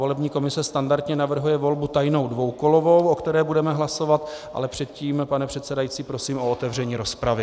Volební komise standardně navrhuje volbu tajnou dvoukolovou, o které budeme hlasovat, ale předtím, pane předsedající, prosím o otevření rozpravy.